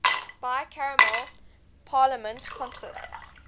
bicameral parliament consists